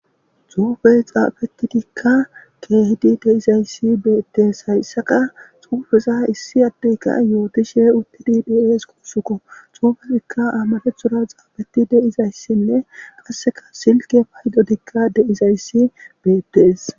xuufe xaafeti dikka keehidi deizayssi beettees hayssaka xuufeza issi addeyka yootishe uttidi dies quusukko xuufetikka amare xzura xaabeti deizayssinne qasseka silke paydodikka deizayssi beettes